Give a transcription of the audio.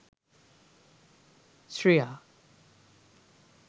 sriya